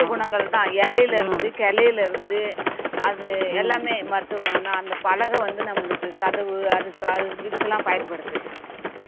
குணங்கள்தான் இலையில இருந்து கிளையில இருந்து அது எல்லாமே மருத்துவ குணம்தான் அந்த பலகை வந்து நம்மளுக்கு கதவு அழுக்கால் இதுக்கெல்லாம் பயன்படுது